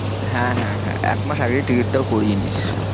হ্যাঁ হ্যাঁ হ্যাঁ একমাস আগেই ticket টাও করিয়েনিস।